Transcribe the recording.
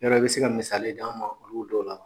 Yarɔ i bɛ se ka misali d'an ma olu dɔw la?